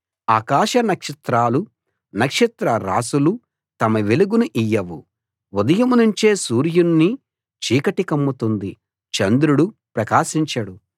ఆకాశ నక్షత్రాలు నక్షత్రరాసులు తమ వెలుగును ఇయ్యవు ఉదయం నుంచే సూర్యుణ్ణి చీకటి కమ్ముతుంది చంద్రుడు ప్రకాశించడు